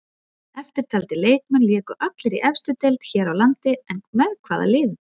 Eftirtaldir leikmenn léku allir í efstu deild hér á landi en með hvaða liðum?